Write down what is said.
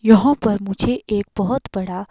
यहां पर मुझे एक बहुत बड़ा--